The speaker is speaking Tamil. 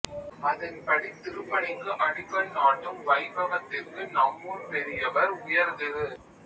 அதன்படி திருப்பணிக்கு அடிக்கல் நாட்டும் வைபவத்திற்கு நம்மூர் பெரியவர் உயர்திரு